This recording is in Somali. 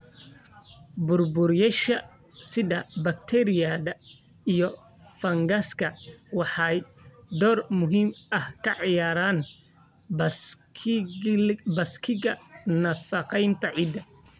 Burburiyeyaasha sida bakteeriyada iyo fangaska waxay door muhiim ah ka ciyaaraan baaskiilka nafaqeynta ciidda.